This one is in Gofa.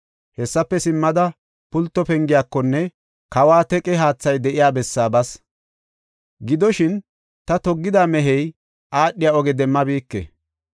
Hessafe simmada Pulto Pengiyakonne kawa teqe haathay de7iya bessaa bas. Gidoshin, ta toggida mehey aadhiya oge demmabike.